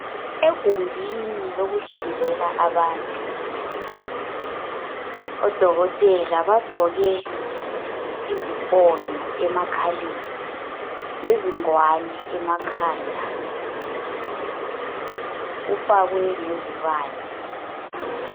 Egumbini lokuhlinzela abantu, odokotela bagqoke izifonyo emakhaleni, lezingwane ekhanda. Kufakwe lezibane.